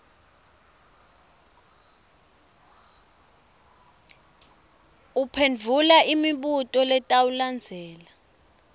uphendvula imibuto letawulandzela